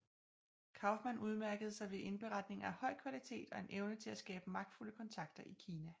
Kauffmann udmærkede sig ved indberetninger af høj kvalitet og en evne til at skabe magtfulde kontakter i Kina